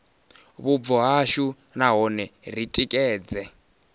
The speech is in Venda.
vhubvo hashu nahone ri tikedze